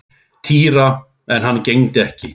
Týra en hann gegndi ekki.